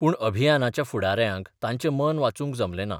पूण अभियानाच्या फुडाऱ्यांक ताचें मन वाचूंक जमले ना.